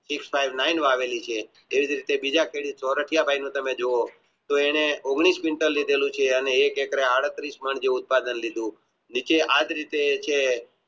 તો એને ઓગણીશ વિન્ટર લિહેલું છે અને એક Hector એ આડત્રીશ જેવું લીધેલું છે નીચે આજ રીતે છે